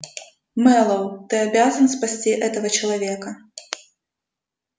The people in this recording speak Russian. мэллоу ты обязан спасти этого человека